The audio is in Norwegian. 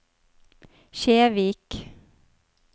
Kjevik